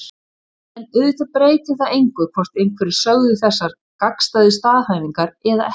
En auðvitað breytir það engu hvort einhverjir sögðu þessar gagnstæðu staðhæfingar eða ekki.